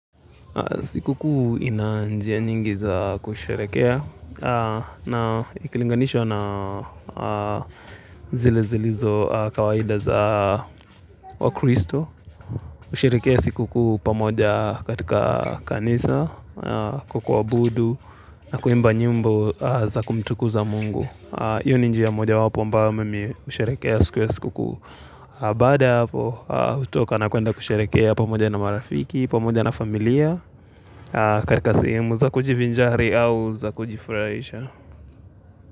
Siku kuu ina njia nyingi za kusharehekea na ikilinganishwa na zile zilizo kawaida za wa kristo. Kusharehekea siku kuu pamoja katika kanisa, kwa kuwabudu na kuimba nyimbo za kumtukuza mungu. Hiyo ni njia moja wapo ambao mimi usherehekea siku ya siku kuu baada, hutoka na kuenda kusharehekea pamoja na marafiki, pamoja na familia. Katika sehimu za kujivinjari au za kujifuraisha.